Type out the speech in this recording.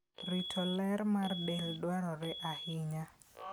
Rito ler mar del dwarore ahinya.